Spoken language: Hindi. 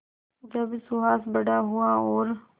जब सुहास बड़ा हुआ और